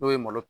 N'o ye malo